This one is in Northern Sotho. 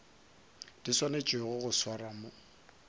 di swanetšego go swarwa mo